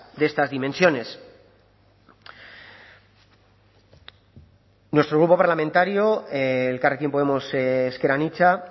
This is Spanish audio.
de estas dimensiones nuestro grupo parlamentario elkarrekin podemos ezker anitza